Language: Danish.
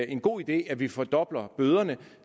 en god idé at vi fordobler bøderne